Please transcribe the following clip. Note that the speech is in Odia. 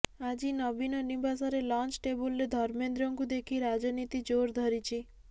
ଆଜି ନବୀନ ନିବାସରେ ଲଞ୍ଚ୍ ଟେବୁଲରେ ଧର୍ମେନ୍ଦ୍ରଙ୍କୁ ଦେଖି ରାଜନୀତି ଜୋର୍ ଧରିଛି